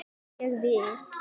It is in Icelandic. Ég vil!